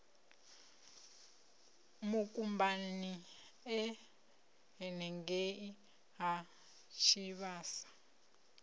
mukumbani e henengei ha tshivhasa